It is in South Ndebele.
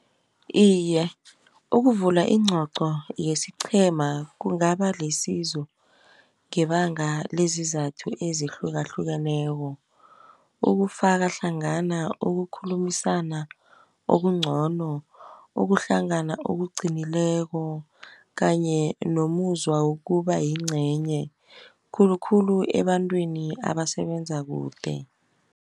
Iye ukuvula iincoco yesiqhema kungaba lisizo ngebanga lezizathu ezihlukahlukeneko. Ukufaka hlangana ukukhulumisana okungcono, ukuhlangana okuqinileko kanye nomuzwa wokuba yincenye, khulukhulu ebantwini abasebenza kude.